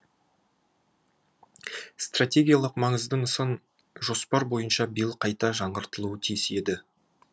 стратегиялық маңызды нысан жоспар бойынша биыл қайта жаңғыртылуы тиіс еді